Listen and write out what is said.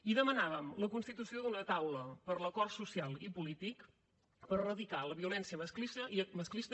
i demanàvem la constitució d’una taula per l’acord social i polític per eradicar la violència masclista